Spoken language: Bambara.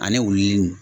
Ani wuluw